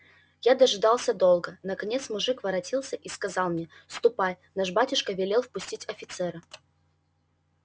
я дожидался долго наконец мужик воротился и сказал мне ступай наш батюшка велел впустить офицера